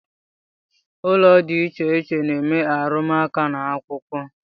Ụlọ di icheiche na-eme arumuaka n’ akwụkwọ